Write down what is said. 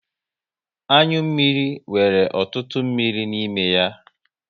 Anyụ mmiri nwere ọtụtụ mmiri n'ime ya